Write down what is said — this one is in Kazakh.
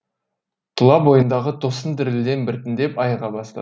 тұла бойындағы тосын дірілден біртіндеп айыға бастады